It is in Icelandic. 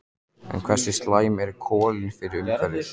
En hversu slæm eru kolin fyrir umhverfið?